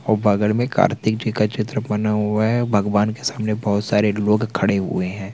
ओ बगल में कार्तिक जी का चित्र बना हुआ है भगवान के सामने बहोत सारे लोग खड़े हुए है।